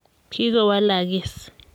kikowalakis.